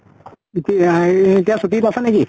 এতি আহ য়ে এতিয়া ছুটিত আছা নেকি?